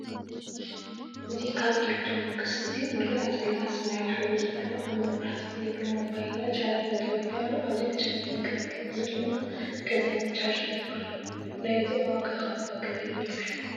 እዚ ካብ ኤሌክትሮክስ እዚ እንሪኣ ዘለና ሰማያዊ ሕብሪ ዘለዋ ኣብ መብራሕቲ ዘይብሉ ሞባይልና ቻርጅ እንተወዲኣ ኣብዚኣ ቻርጅ ንገብር እዚ ድማ ከዛኒት ቻርጅ ትበሃል:: ናይዚ ዋ ከ እባ ክንዳይ ይበፅሕ ?